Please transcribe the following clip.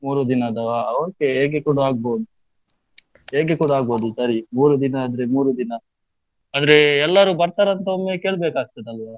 ಮೂರು ದಿನದವ okay ಹೇಗೆ ಕೂಡ ಆಗ್ಬೋದು, ಹೇಗೆ ಕೂಡ ಆಗ್ಬೋದು ಸರಿ, ಮೂರು ದಿನ ಆದ್ರೆ ಮೂರು ದಿನ, ಅಂದ್ರೆ ಎಲ್ಲರೂ ಬರ್ತಾರಾ ಅಂದ್ರೆ ಒಮ್ಮೆ ಕೇಳ್ಬೇಕಾಗ್ತದೆ ಅಲ್ವಾ?